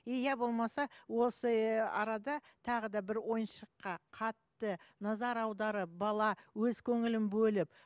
иә болмаса осы арада тағы да бір ойыншыққа қатты назар аударып бала өз көңілін бөліп